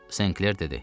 Senkler dedi.